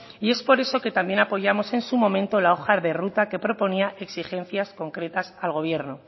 y es por eso que también apoyamos en su momento la hoja de ruta que proponía exigencias concretas al gobierno